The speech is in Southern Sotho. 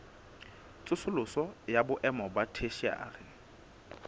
tsosoloso ya boemo ba theshiari